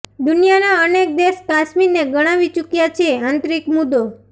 દુનિયાના અનેક દેશ કાશ્મીરને ગણાવી ચૂક્યા છે આંતરિક મુદ્દો